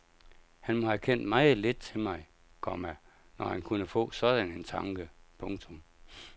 Han må have kendt meget lidt til mig, komma når han kunne få sådan en tanke. punktum